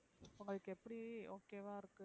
உங்களுக்கு எப்டி okay வா இருக்கு,